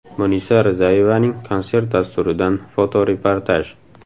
Munisa Rizayevaning konsert dasturidan fotoreportaj.